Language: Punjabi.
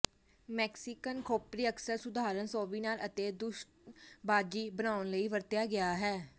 ਮੈਕਸੀਕਨ ਖੋਪਰੀ ਅਕਸਰ ਸੁਧਾਰਨ ਸੋਵੀਨਾਰ ਅਤੇ ਦੂਸ਼ਣਬਾਜ਼ੀ ਬਣਾਉਣ ਲਈ ਵਰਤਿਆ ਗਿਆ ਹੈ